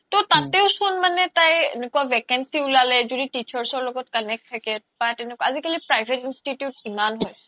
তৌ তাতে চোন মানে তাই এনেকুৱা vacancy উলালে য্দি teachers ৰ লগত connect থাকে তাত এনেকুৱা আজিকালি private institute কিমান হৈছে